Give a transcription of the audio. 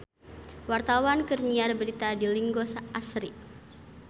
Wartawan keur nyiar berita di Linggo Asri